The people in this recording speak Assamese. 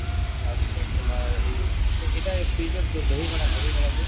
তাৰপিছত তোমাৰ এই এটা এই dahi wada dahi wada যে